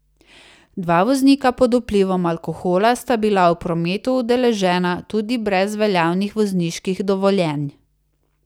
Dva voznika pod vplivom alkohola sta bila v prometu udeležena tudi brez veljavnih vozniških dovoljenj.